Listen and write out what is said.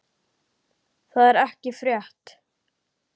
Það er ekki frétt.